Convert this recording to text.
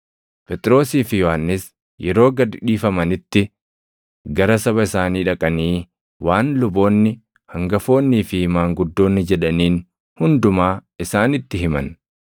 Phexrosii fi Yohannis yeroo gad dhiifamanitti gara saba isaanii dhaqanii waan luboonni hangafoonnii fi maanguddoonni jedhaniin hundumaa isaanitti himan.